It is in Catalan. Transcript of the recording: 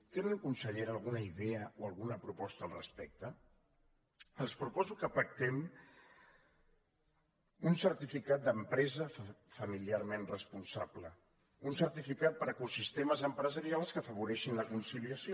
tenen consellera alguna idea o alguna proposta al respecte els proposo que pactem un certificat d’empresa familiarment responsable un certificat per a ecosistemes empresarials que afavoreixin la conciliació